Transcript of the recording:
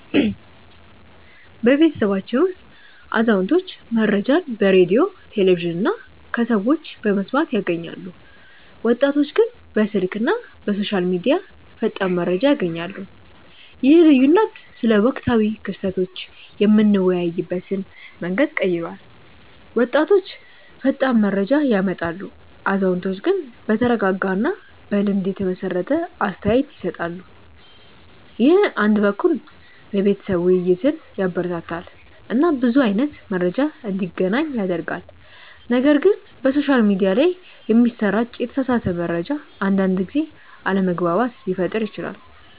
በቤተሰባችን ውስጥ አዛውንቶች መረጃን በሬዲዮ፣ ቴሌቪዥን እና ከሰዎች በመስማት ያገኛሉ፣ ወጣቶች ግን በስልክ እና በሶሻል ሚዲያ ፈጣን መረጃ ያገኛሉ። ይህ ልዩነት ስለ ወቅታዊ ክስተቶች የምንወያይበትን መንገድ ቀይሯል፤ ወጣቶች ፈጣን መረጃ ያመጣሉ፣ አዛውንቶች ግን በተረጋጋ እና በልምድ የተመሰረተ አስተያየት ይሰጣሉ። ይህ አንድ በኩል የቤተሰብ ውይይትን ያበረታታል እና ብዙ አይነት መረጃ እንዲገናኝ ያደርጋል፣ ነገር ግን በሶሻል ሚዲያ ላይ የሚሰራጭ የተሳሳተ መረጃ አንዳንድ ጊዜ አለመግባባት ሊፈጥር ይችላል